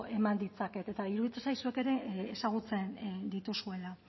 eman ditzaket eta iruditzen zait zuek ere ezagutzen dituzuela